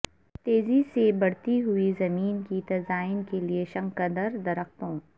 تیزی سے بڑھتی ہوئی زمین کی تزئین کے لئے شنکدر درختوں